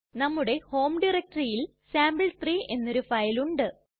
നമ്മുടെ ഹോം ഡയറക്ടറിയിൽ സാംപിൾ3 എന്നൊരു ഫയലുണ്ട്